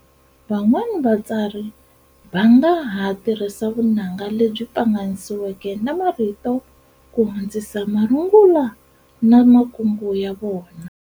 Van'wana vatsari vanga ha tirhisa vunanga lebyi pfanganisiweke na marito ku hundzisa marungula na makungu ya vona.